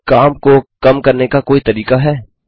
क्या काम को कम करने का कोई तरीका है